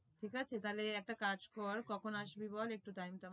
ঠিক আছে তাহলে একটা কাজ কর কখন আসবি বল একটু time টা